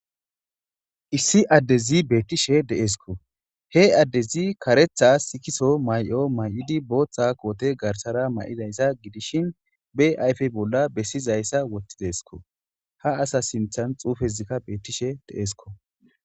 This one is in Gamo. Issi adezzi betishshe de'essikko .he adezzi kareththa sikiso mayo mayida boththa kote garisara mayidassa gidishin bee ayife bolla besizayissa woththidesikko haa asa sinththanni xuufezzi betishshe de'essikko.